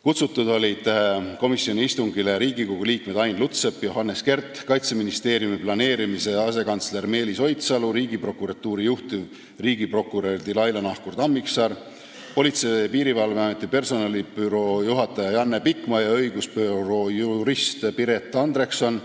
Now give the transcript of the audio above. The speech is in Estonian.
Kutsutud olid komisjoni istungile Riigikogu liikmed Ain Lutsepp ja Johannes Kert, Kaitseministeeriumi kaitseplaneerimise asekantsler Meelis Oidsalu, Riigiprokuratuuri juhtiv riigiprokurör Dilaila Nahkur-Tammiksaar, Politsei- ja Piirivalveameti personalibüroo juhataja Janne Pikma ja õigusbüroo jurist Piret Andrekson,